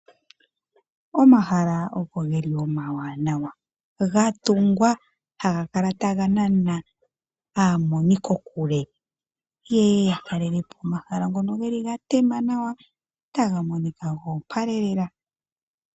Omahala oko ge li omawanawa ga tungwa ha ga kala taga nana aamonikokule ye ye ya talele po omahala ngoka ga tema nawa taga monika go opala lela.